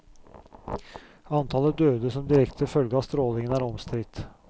Antallet døde som direkte følge av strålingen er omstridt.